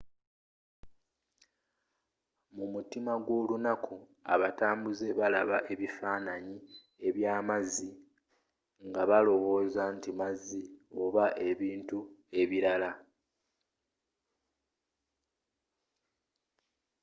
mu mutima gw’olunaku abatambuze balaba ebifaanani ebyamazzi nga balowooza nti mazzioba ebintu ebirala